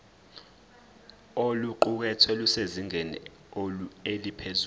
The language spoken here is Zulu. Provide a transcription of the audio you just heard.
oluqukethwe lusezingeni eliphezulu